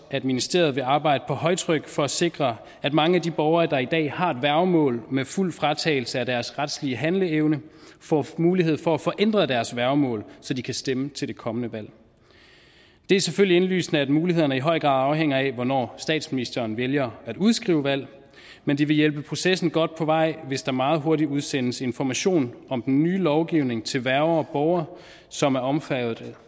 at ministeriet vil arbejde på højtryk for at sikre at mange af de borgere der i dag har et værgemål med fuld fratagelse af deres retslige handleevne får mulighed for at få ændret deres værgemål så de kan stemme til det kommende valg det er selvfølgelig indlysende at mulighederne i høj grad afhænger af hvornår statsministeren vælger at udskrive valg men det vil hjælpe processen godt på vej hvis der meget hurtigt udsendes information om den nye lovgivning til værger og borgere som er omfattet